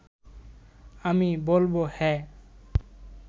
আমি বলব হ্যাঁ